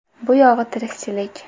Bu yog‘i tirikchilik.